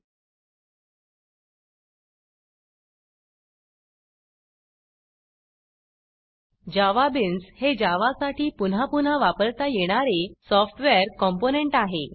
JavaBeansजावाबिन्स हे जावासाठी पुन्हा पुन्हा वापरता येणारे सॉफ्टवेअर कॉम्पोनंट आहे